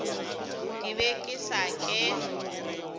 ke be ke sa ke